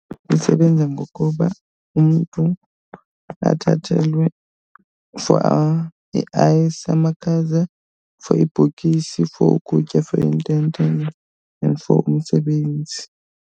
Isebenzi ngokuba umntu athathelwe for i-ice, amakhaza, for ibhokisi, for ukutya, for intente and for umsebenzi.